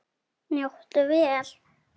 Njóttu vel.